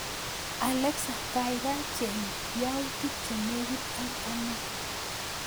Alexa kagaigai cheng youtik che negit ak ane